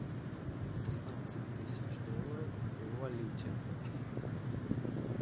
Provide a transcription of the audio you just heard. тринадцать тысяч долларов в валюте